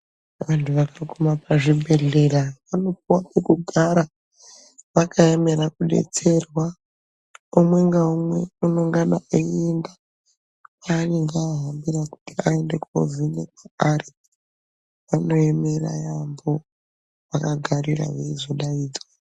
Vantu vakaguma pazvibhedhlera vanopuwe pekugara vakaemera kudetserwa umwe ngaumwe unongana einda kwanenga ahambira kuti aende kovhenekwa ari vanoemera yambo vakagarira veizodaidzwa.